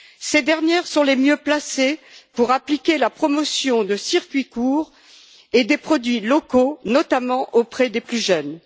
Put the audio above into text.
Ces dernières sont les mieux placées pour promouvoir les circuits courts et les produits locaux, notamment auprès des plus jeunes.